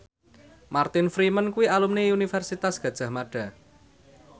Martin Freeman kuwi alumni Universitas Gadjah Mada